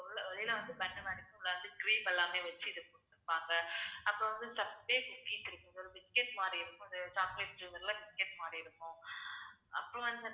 ஏன்னா வந்து உள்ளார cream எல்லாமே வச்சு இது குடுத்துருப்பாங்க அப்புறம் வந்து ticket மாதிரி இருக்கும். இது chocolate cover ல ticket மாதிரி இருக்கும் அப்புறம் வந்து